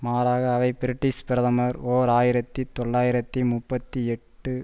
மாறாக அவை பிரிட்டிஷ் பிரதமர் ஓர் ஆயிரத்தி தொள்ளாயிரத்தி முப்பத்தி எட்டு